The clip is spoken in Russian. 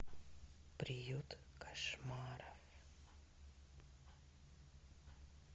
приют кошмаров